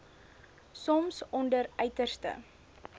soms onder uiterste